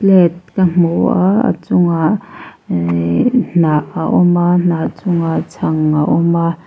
plate ka hmu a a chungah iii hnah a awm a hnah chungah chhang a awm a--